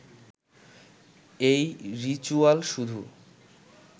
এই রিচুয়াল শুধু